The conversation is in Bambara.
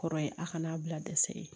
Kɔrɔ ye a kana' bila dɛsɛ